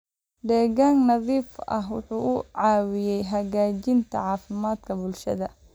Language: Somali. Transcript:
Deegaan nadiif ah wuxuu caawiyaa hagaajinta caafimaadka bulshada.